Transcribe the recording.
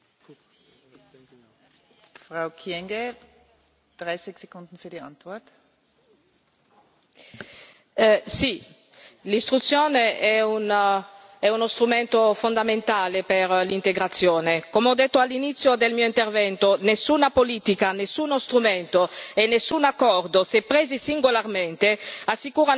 Sì, l'istruzione è uno strumento fondamentale per l'integrazione. Come ho detto all'inizio del mio intervento, nessuna politica, nessuno strumento e nessun accordo, se presi singolarmente, assicurano da soli una risposta al fenomeno migratorio, per cui quando si dà una risposta a una politica anche di integrazione bisogna tenere